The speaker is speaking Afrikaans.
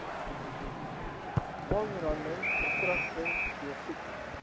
aanranding verkragting deursoeking